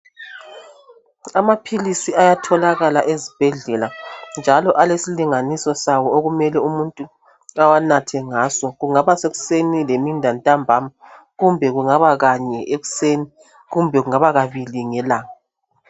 Amaphilisi ayatholakala ezibhedlela njalo alesilinganiso sawo okumele umuntu awanathe ngaso . Kungaba sekuseni lemini lantambama kumbe kungaba Kanye ekuseni kumbe kungaba kabili ngelanga .